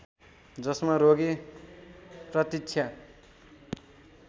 जसमा रोगी प्रतीक्षा